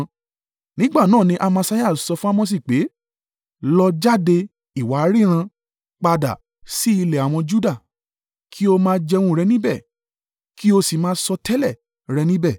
Nígbà náà ni Amasiah sọ fún Amosi pé, “Lọ jáde, ìwọ aríran! Padà sí ilẹ̀ àwọn Juda. Kí o máa jẹun rẹ níbẹ̀, kí o sì máa sọtẹ́lẹ̀ rẹ̀ níbẹ̀.